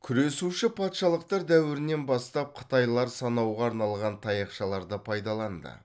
күресуші патшалықтар дәуірінен бастап қытайлар санауға арналған таяқшаларды пайдаланды